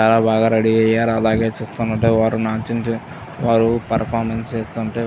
చాలా బాగా రెడీ అయ్యారు అలాగే చూస్తుంటే వారు నారు వారు పెర్ఫార్మన్స్ చేస్తుంటే --